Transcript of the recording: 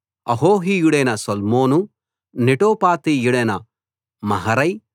అహోహీయుడైన Salmon నెటోపాతీయుడైన Maharai